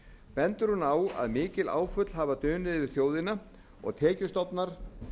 bendir hún á að mikil áföll hafa dunið yfir þjóðina og tekjustofnar